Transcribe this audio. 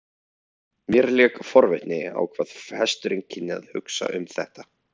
Mér lék forvitni á hvað hesturinn kynni að hugsa um þetta.